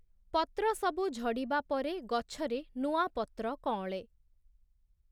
ପତ୍ରସବୁ ଝଡ଼ିବା ପରେ ଗଛରେ ନୂଆ ପତ୍ର କଅଁଳେ ।